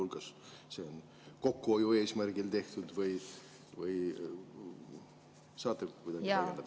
Kas see on kokkuhoiu eesmärgil tehtud või saate kuidagi täiendada?